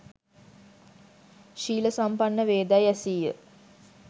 ශීල සම්පන්න වේදැයි ඇසීය.